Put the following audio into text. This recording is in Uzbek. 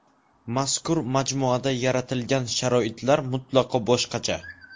Mazkur majmuada yaratilgan sharoitlar mutlaqo boshqacha.